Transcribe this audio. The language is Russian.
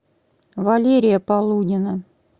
валерия полунина